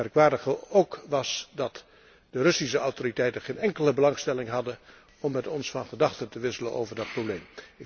Het merkwaardige was ook dat de Russische autoriteiten geen enkele belangstelling hadden om met ons van gedachten te wisselen over dat probleem.